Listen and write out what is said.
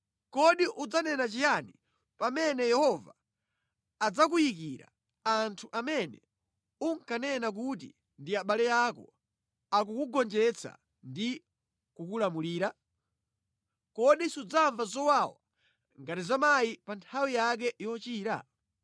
Kodi udzanena chiyani pamene [Yehova] adzakuyikira anthu amene unkanena kuti ndi abale ako akukugonjetsa ndi kukulamulira? Kodi sudzamva zowawa ngati za mayi pa nthawi yake yochira?